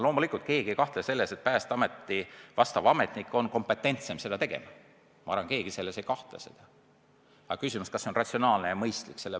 Loomulikult keegi ei kahtle selles, et Päästeameti ametnik on kompetentsem seda kontrolli tegema, aga on küsimus, kas muudatus on ratsionaalne ja mõistlik.